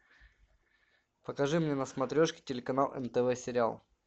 покажи мне на смотрешке телеканал нтв сериал